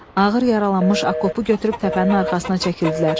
Ağır yaralanmış Akopu götürüb təpənin arxasına çəkildilər.